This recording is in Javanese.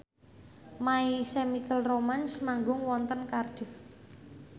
My Chemical Romance manggung wonten Cardiff